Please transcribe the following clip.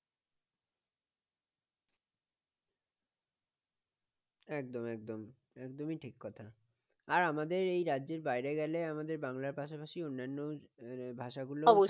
একদম একদম একদমই ঠিক কথা আর আমাদের এই রাজ্যের বাইরে গেলে আমাদের বাংলার পাশাপাশি অন্যান্য ভাষাগুলো